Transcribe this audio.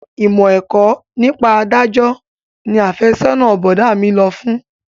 Ìmọ̀ ẹ̀kọ́ nípa adájọ́ ni afẹ́sọ́nà bọ̀dá mi lọ fún